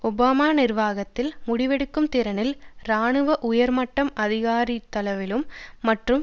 Obama நிர்வாகத்தில் முடிவெடுக்கும் திறனில் இராணுவ உயர்மட்டம் அதிகரித்தளவிலும் மற்றும்